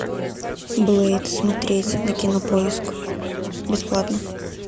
блэйд смотреть на кинопоиск бесплатно